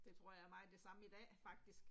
Det tror jeg er meget det samme i dag faktisk